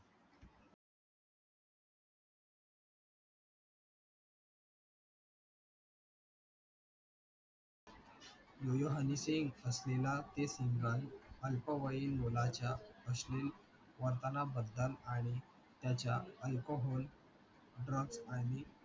यो yo Honey Singh असलेला ते single, अल्पवयीन मुलाच्या अश्लील वर्तनाबद्दल आणि त्याच्या alcohol drugs आणि